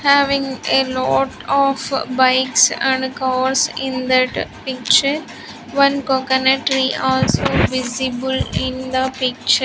Having a lot of bikes and cars in that picture one coconut tree also visible in the picture.